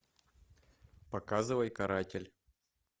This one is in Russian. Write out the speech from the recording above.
показывай каратель